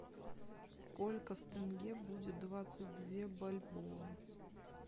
сколько в тенге будет двадцать две бальбоа